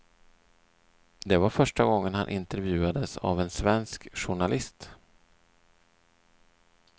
Det var första gången han intervjuades av en svensk journalist.